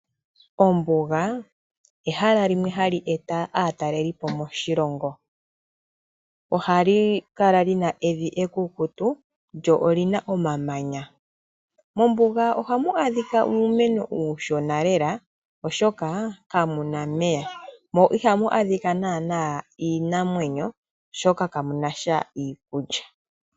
Ombuga ehala limwe hali eta aatalelipo moshilongo, ohali kala lina evi ekukutu lyo olyina omamanya. Mombuga ohamu adhika uumeno uushona lela oshoka kamu omeya, mo ihamu adhika nana iinamwenyo oshoka kamunasha iikulya.